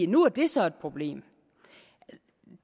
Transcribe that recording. nu er det så et problem